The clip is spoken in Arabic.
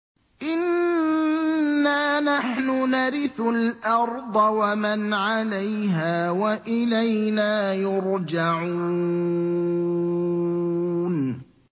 إِنَّا نَحْنُ نَرِثُ الْأَرْضَ وَمَنْ عَلَيْهَا وَإِلَيْنَا يُرْجَعُونَ